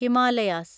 Himalayas